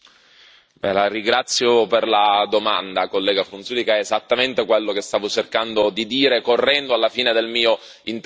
La ringrazio per la domanda, onorevole Frunzulicǎ, è esattamente quello che stavo cercando di dire, correndo alla fine del mio intervento.